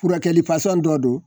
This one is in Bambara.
Furakɛli dɔ don